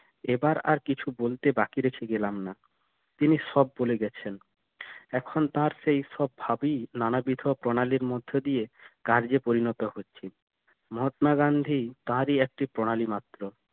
এবার আর কিছু বলতে বাকি রেখে গেলাম না তিনি সব বলে গেছেন এখন তার সেই সব ভাবই নানাবিধ প্রণালির মধ্যে দিয়ে কার্যে পরিণত হচ্ছে মহাত্মা গান্ধী তারই একটা প্রণালী মাত্র